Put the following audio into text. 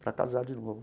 Para casar de novo.